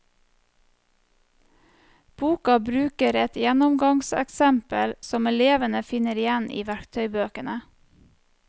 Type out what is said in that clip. Boka bruker et gjennomgangseksempel som elevene finner igjen i verktøybøkene.